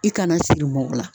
I kana siri mɔgɔ la